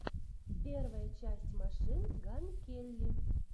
первая часть машин ган келли